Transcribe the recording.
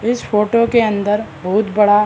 इस फोटो के अंदर बहुत बड़ा --